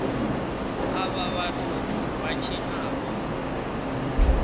avha vhathu vha tshina vho